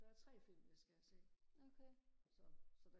der er tre film jeg skal have set okay så